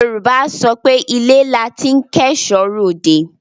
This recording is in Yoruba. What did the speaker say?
Yorùbá á sọ pé ilé la ti ń kẹ́ẹ̀ṣọ́ ròde.